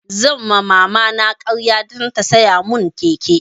Zan ma mama na ƙarya dan ta siya mun keke